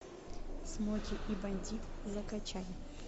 смоки и бандит закачай